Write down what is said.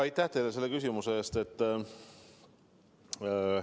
Aitäh teile selle küsimuse eest!